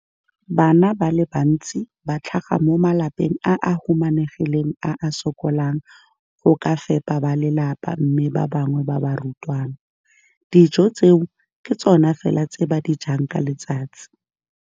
Bana ba le bantsi ba tlhaga mo malapeng a a humanegileng a a sokolang go ka fepa ba lelapa mme ba bangwe ba barutwana, dijo tseo ke tsona fela tse ba di jang ka letsatsi.